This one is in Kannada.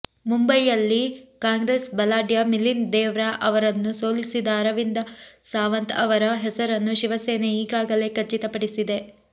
ಮುಂಬಯಿಯಲ್ಲಿ ಕಾಂಗ್ರೆಸ್ ಬಲಾಢ್ಯ ಮಿಲಿಂದ್ ದೇವ್ರಾ ಅವರನ್ನು ಸೋಲಿಸಿದ ಅರವಿಂದ ಸಾವಂತ್ ಅವರ ಹೆಸರನ್ನು ಶಿವಸೇನೆ ಈಗಾಗಲೇ ಖಚಿತಪಡಿಸಿದೆ